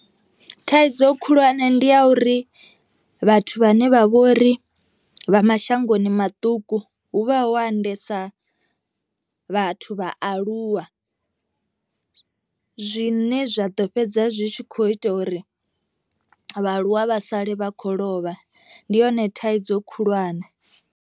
Thaidzo khulwane ndi ya uri vhathu vhane vha vhori vha mashangoni maṱuku hu vha ho andesa vhathu vha aluwa, zwine zwa ḓo fhedza zwi tshi kho ita uri vhaaluwa vha sale vha khou lovha ndi yone thaidzo khulwane.